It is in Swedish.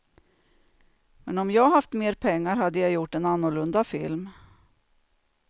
Men om jag haft mer pengar hade jag gjort en annorlunda film.